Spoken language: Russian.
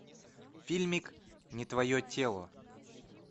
фильмик не твое тело